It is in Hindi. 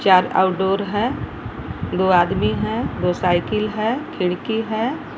चार आउटडोर है दो आदमी है दो साइकिल है खिड़की है।